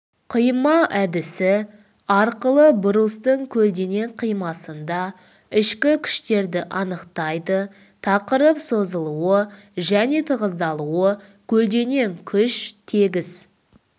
қима әдісі арқылы брустың көлденең қимасында ішкі күштерді анықтайды тақырып созылуы және тығыздалуы көлденең күш тегіс